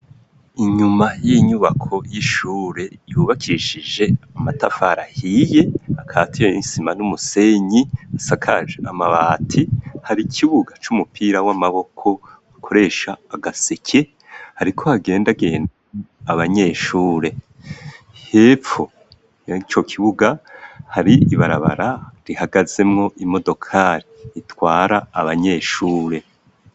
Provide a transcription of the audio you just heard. Inyuma y'inyubako y'ishure yubakishije amatafarahiye akatire y'insima n'umusenyi asakaje amabati hari ikibuga c'umupira w'amaboko gakoresha agaseke hariko hagenda agenda abanyeshure hepfo yang kok buga hari ibarabara rihagazemwo imodokari itwara abanyeshure.